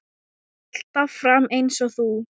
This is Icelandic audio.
Alltaf fram eins og þú.